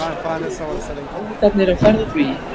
Ljótu hálfvitarnir á ferð og flugi